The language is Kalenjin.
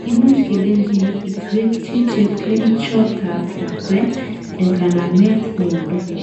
Imuch kelenjin itwekyi chepkerichotab lakwet en kanametab miondo